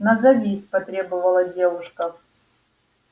назовись потребовала девушка